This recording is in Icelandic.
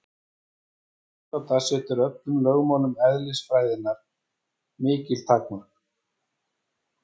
Þessi tilgáta setur öllum lögmálum eðlisfræðinnar mikil takmörk.